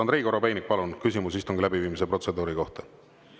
Andrei Korobeinik, palun, küsimus istungi läbiviimise protseduuri kohta!